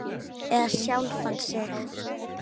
Eða sjálfan þig.